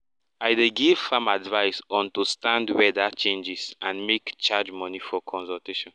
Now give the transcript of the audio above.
i dey give farm advise on to stand weather changes and make charge money for consultation